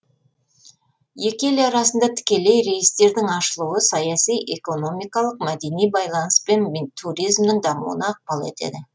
екі ел арасында тікелей рейстердің ашылуы саяси экономикалық мәдени байланыстар мен туризмнің дамуына ықпал етеді